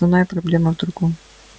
основная проблема в другом